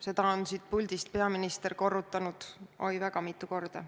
Seda on peaminister siit puldist korranud väga mitu korda.